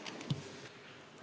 Aitäh!